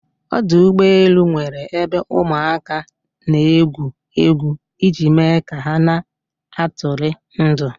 Ọdụ ụgbọ elu nwere ebe ụmụ aka n'egwu egwu iji me ka ha na atụri ndụ